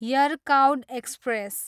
Yercaud express